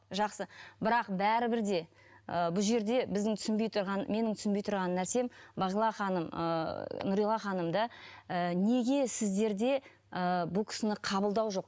жақсы бірақ бәрібір де ііі бұл жерде біздің түсінбей тұрған менің түсінбей тұрған нәрсем бағила ханым ыыы нұрила ханымды ы неге сіздерде ы бұл кісіні қабылдау жоқ